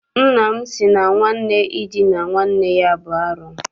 Nna m sị na nwanne idina nwanne ya bụ arụ.